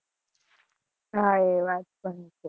હા, એ વાત પણ છે